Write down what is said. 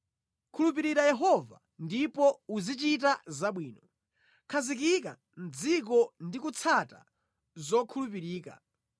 Khulupirira Yehova ndipo uzichita zabwino; khazikika mʼdziko ndi kutsata zokhulupirika.